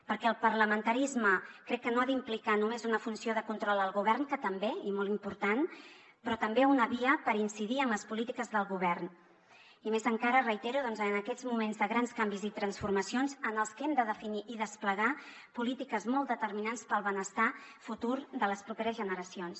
perquè el parlamentarisme crec que no ha d’implicar només una funció de control al govern que també i molt important però també una via per incidir en les polítiques del govern i més encara ho reitero doncs en aquests moments de grans canvis i transformacions en els que hem de definir i desplegar polítiques molt determinants per al benestar futur de les properes generacions